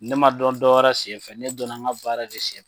Ne ma dɔn dɔwɛrɛ senfɛ, ne dɔnna n ka baara de senfɛ.